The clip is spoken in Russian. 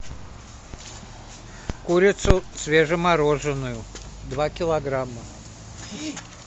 курицу свежемороженную два килограмма